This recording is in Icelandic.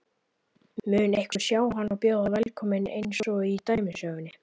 Mun einhver sjá hann og bjóða velkominn einsog í dæmisögunni?